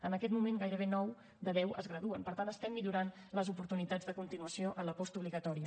en aquest moment gairebé nou de deu es graduen per tant estem millorant les oportunitats de continuació en la postobligatòria